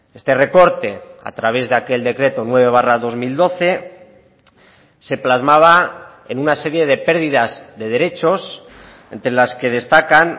este recorte a través de aquel decreto nueve barra dos mil doce se plasmaba en una serie de pérdidas de derechos entre las que destacan